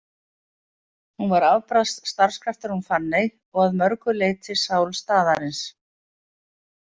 Hún var afbragðs starfskraftur hún Fanney og að mörgu leyti sál staðarins.